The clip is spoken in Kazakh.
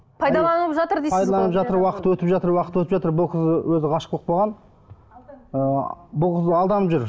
пайдаланып жатыр дейсіз пайдаланып жатыр уақыт өтіп жатыр уақыт өтіп жатыр бұл қыз өзі ғашық болып қалған ы бұл қыз алданып жүр